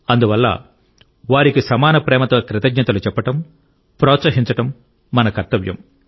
అందువల్ల వారికి సమాన ప్రేమతో కృతజ్ఞతలు చెప్పడం ప్రోత్సహించడం మన కర్తవ్యం